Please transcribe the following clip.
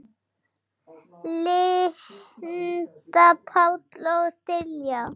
Linda, Páll og Diljá.